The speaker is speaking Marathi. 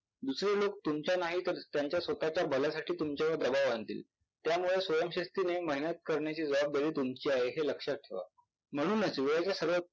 दुसरे लोक तुमच्या नाहीतर त्यांच्या स्वतःच्या भल्यासाठी तुमच्यावर दबाव आणतील त्यामुळे स्वयंशिस्तीने मेहनत करण्याची जबाबदारी तुमची आहे हे लक्षात ठेवा. म्हणूनच वेळेचे सगळे